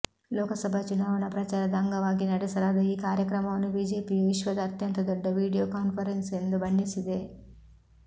ಲೋಕಸಭಾ ಚುನಾವಣಾ ಪ್ರಚಾರದ ಅಂಗವಾಗಿ ನಡೆಸಲಾದ ಈ ಕಾರ್ಯಕ್ರಮವನ್ನು ಬಿಜೆಪಿಯು ವಿಶ್ವದ ಅತ್ಯಂತ ದೊಡ್ಡ ವೀಡಿಯೊ ಕಾನ್ಫರೆನ್ಸ್ ಎಂದು ಬಣ್ಣಿಸಿದೆ